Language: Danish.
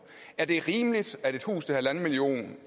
er det rimeligt at et hus